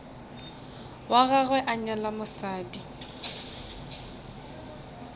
wa gagwe a nyala mosadi